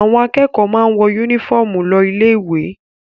Àwọn akẹ́kọ̀ọ́ máa ń wọ únífọ́ọ́mù lọ ilé-ìwé.